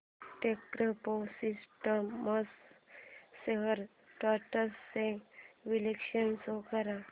Techpro systems shares trends चे विश्लेषण show कर